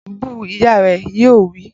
Bu u! Ìyá rẹ̀ yóò wí.